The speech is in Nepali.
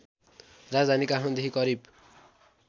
राजधानी काठमाडौँदेखि करिब